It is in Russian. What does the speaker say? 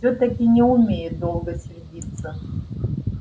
всё таки не умею долго сердиться